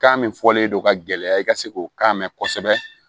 Kan min fɔlen don ka gɛlɛya i ka se k'o kan mɛn kosɛbɛ